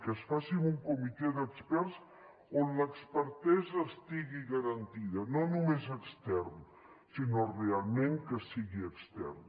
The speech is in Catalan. que es faci amb un comitè d’experts on l’expertesa estigui garantida no només extern sinó realment que sigui extern